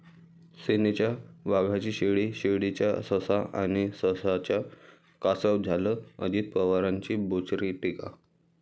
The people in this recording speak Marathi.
सेनेच्या वाघाची शेळी, शेळीचा ससा, आणि सशाचं कासव झालं, अजित पवारांची बोचरी टीका